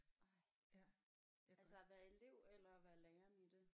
Ej altså at være elev eller være læreren i det?